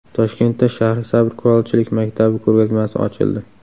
Toshkentda Shahrisabz kulolchilik maktabi ko‘rgazmasi ochildi.